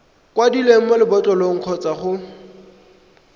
kwadilweng mo lebotlolong kgotsa mo